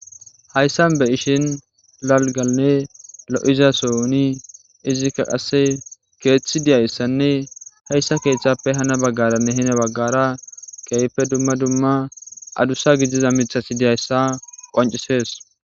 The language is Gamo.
Hayssan be7ishin dalggannelo7iza soon izikka ase keeththi dizayssanne keeththazape hani baggarane heni baggara addusa mithati dizayssa besees.